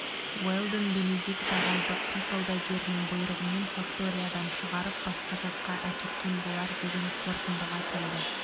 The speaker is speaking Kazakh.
уэлдон бенедикт ағайды құл саудагерінің бұйрығымен факториядан шығарып басқа жаққа әкеткен болар деген қорытындыға келді